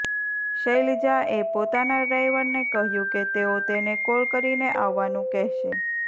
શૈલજા એ પોતાના ડ્રાઇવરને કહ્યું કે તેઓ તેને કોલ કરીને આવવાનું કહેશે